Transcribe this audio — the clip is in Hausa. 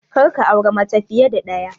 Kar ka auri mace fiye da ɗaya!